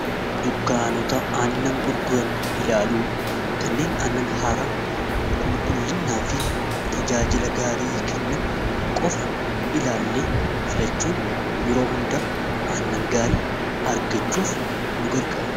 dukkaanota aannan gurguran ilaaluu kanneen aannan haara qulqullinnaa fi tajaajila gaarii kennan qofa ilaallee filachuun yeroo hundaa annan gaarii argachuuf nu garga